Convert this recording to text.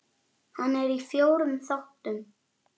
Hann er í fjórum þáttum.